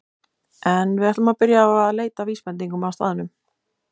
En við ættum að byrja á að leita að vísbendingum á staðnum.